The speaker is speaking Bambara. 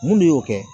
Mun y'o kɛ